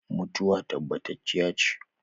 Mutuwa tabbatacciya ce